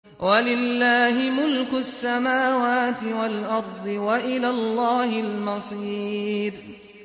وَلِلَّهِ مُلْكُ السَّمَاوَاتِ وَالْأَرْضِ ۖ وَإِلَى اللَّهِ الْمَصِيرُ